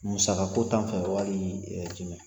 Musaka ko tan fɛ wali jumɛn ?